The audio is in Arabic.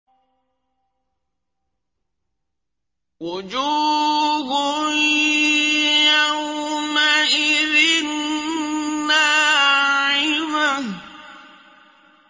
وُجُوهٌ يَوْمَئِذٍ نَّاعِمَةٌ